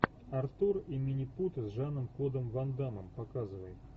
артур и минипуты с жаном клодом ван даммом показывай